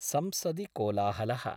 संसदि कोलाहल: